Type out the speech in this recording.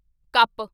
cup